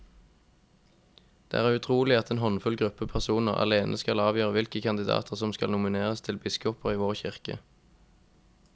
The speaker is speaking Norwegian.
Det er utrolig at en håndfull gruppe personer alene skal avgjøre hvilke kandidater som skal nomineres til biskoper i vår kirke.